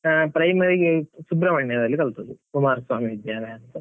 ಹಾ primary , ಸುಬ್ರಮಣ್ಯದಲ್ಲಿ ಕಲ್ತದ್ದು, ಕುಮಾರ ಸ್ವಾಮಿ ವಿದ್ಯಾಲಯ ಅಂತ.